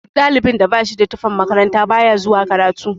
Duk ɗalibin da bashida tufan makaranta baya zuwa karatu.